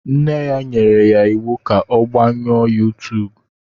Nne ya nyere ya iwu ka ọ gbanyụọ yuutubu.